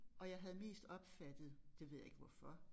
Og jeg havde mest opfattet det ved jeg ikke hvorfor